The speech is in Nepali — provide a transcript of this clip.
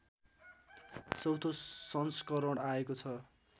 चौथो संस्करण आएको छ